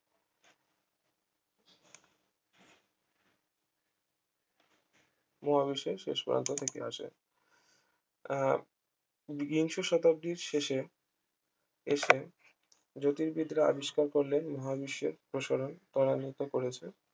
মহাবিশ্বের শেষ প্রান্ত থেকে আসে আহ বিংশ শতাব্দীর শেষে এসে জ্যোতির্বিদরা আবিষ্কার করলেন মহাবিশ্বের প্রসারণ ত্বরান্বিত করেছে